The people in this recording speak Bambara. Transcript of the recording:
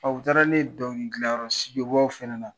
u taara ni ne ye dɔnkili gilan fana na